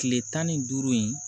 Kile tan ni duuru in